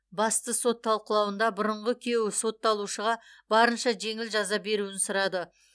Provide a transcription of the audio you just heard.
басты сот талқылауында бұрынғы күйеуі сотталушыға барынша жеңіл жаза беруін сұрады